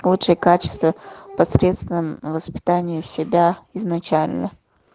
лучшие качества посредством воспитания себя изначально